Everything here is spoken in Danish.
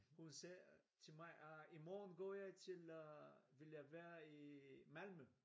Hun sagde til mig at i morgen går jeg til vil jeg være i Malmø